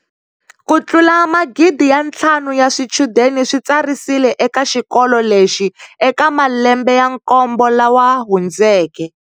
Ku tlula magidi ya ntlhanu ya swichudeni swi tsarisile eka xikolo lexi eka malembe ya nkombo lawa hundzeke.